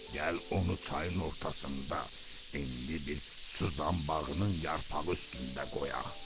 Gəl onu çayın ortasında enli bir suzanbağının yarpağı üstündə qoyaq.